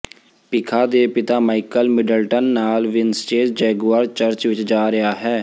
ਪਿਖਾ ਦੇ ਪਿਤਾ Michael Middleton ਨਾਲ ਵਿੰਸਟੇਜ ਜਗੁਆਰ ਚਰਚ ਵਿਚ ਜਾ ਰਿਹਾ ਹੈ